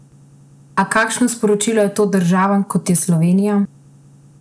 A kakšno sporočilo je to državam, kot je Slovenija?